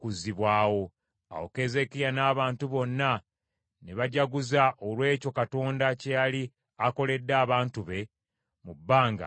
Awo Keezeekiya n’abantu bonna ne bajaguza olw’ekyo Katonda kye yali akoledde abantu be mu bbanga ettono ennyo.